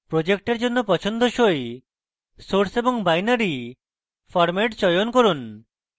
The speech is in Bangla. project জন্য পছন্দসই source এবং binary format চয়ন করুন